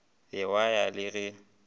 be wa ya le ge